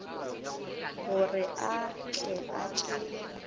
gore a tle a tšee